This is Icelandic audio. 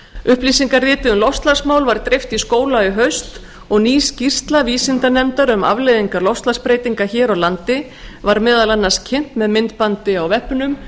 upplýsingariti um loftslagsmál var dreift í skóla í haust og ný skýrsla vísindanefndar um afleiðingar loftslagsbreytinga hér á landi var meðal annars kynnt með myndbandi á vefnum